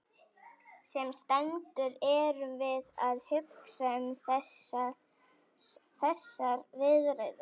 Sem sendur erum við að hugsa um þessar viðræður.